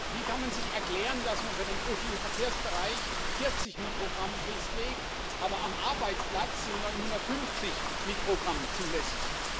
Wie kann man sich erklären, dass man für den öffentlichen Verkehrsbereich 40 Mikrogramm festlegt, aber am Arbeitsplatz sind 950 Mikrogramm zulässig?